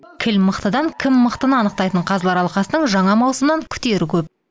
кіл мықтыдан кім мықтыны анықтайтын қазылар алқасының жаңа маусымнан күтері көп